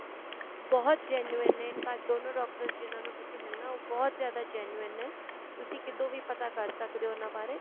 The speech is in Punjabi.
ਬਹੁਤ genuine ਨੇ ਕੱਲ ਦੋਨੋ doctors ਜਿਹਨਾ ਨੂੰ ਤੁਸੀਂ ਮਿਲਣਾ ਬਹੁਤ ਜਿਆਦਾ genuine ਨੇ ਤੁਸੀਂ ਕਿਤੋਂ ਵੀ ਪਤਾ ਕਰ ਸਕਦੇ ਓ ਉਹਨਾ ਬਾਰੇ